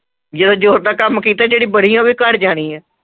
ਜਿਹੜਾ ਜੋਰ ਦਾ ਕੰਮ ਕੀਤਾ ਹੈ ਜਿਹੜੀ ਬੜੀ ਹੈ ਉਹ ਘਰ ਜਾਣੀ ਹੈ।